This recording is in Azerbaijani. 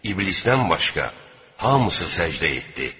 İblisdən başqa hamısı səcdə etdi.